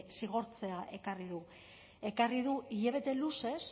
zigortzea ekarri du hilabete luzez